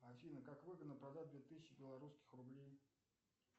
афина как выгодно продать две тысячи белорусских рублей